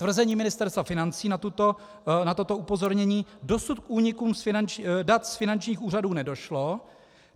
Tvrzení Ministerstva financí na toto upozornění: Dosud k únikům dat z finančních úřadů nedošlo.